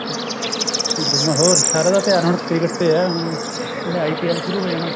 ਹੋਰ ਸਾਰੀਆਂ ਦੇ ਧਿਆਨ ਹੁਣ cricket ਤੇ ਹੈ ਹੁਣ ਹੁਣ IPL ਸ਼ੁਰੂ ਹੋ ਜਾਣਾ